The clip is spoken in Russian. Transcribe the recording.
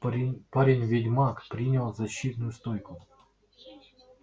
парень-ведьмак принял защитную стойку